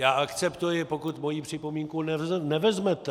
Já akceptuji, pokud moji připomínku nevezmete.